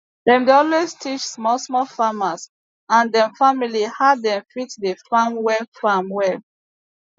dem dey always teach small small farmers and dem family how dem fit dey farm well farm well